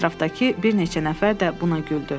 Ətrafdakı bir neçə nəfər də buna güldü.